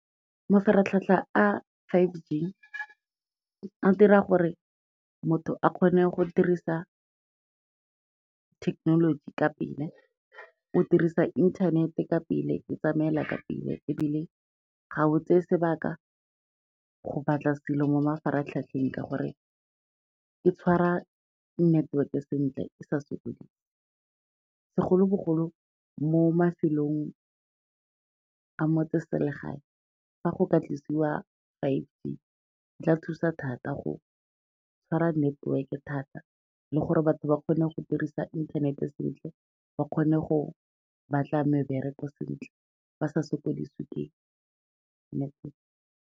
Mafaratlhatlha a five G a dira gore motho a kgone go dirisa thekenoloji ka pele, o dirisa inthanete ka pele e tsamaela ka pele ebile ga o tseye sebaka go batla selo mo mafaratlhatlheng, ka gore e tshwara neteweke sentle e sa sekodise, segolobogolo mo mafelong a motseselegae, fa go ka tlisiwa five G, e tla thusa thata go tshwara network-e thata le gore batho ba kgone go dirisa inthanete sentle, ba kgone go batla mebereko sentle, ba sa sokodisewe ke network.